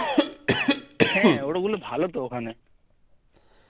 হ্যাঁ অরম হলে ভালো তো ওখানে